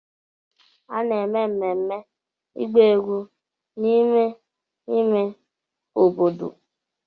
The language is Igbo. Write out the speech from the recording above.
A na-eme mmemme ịgba egwu n'ime ime obodo.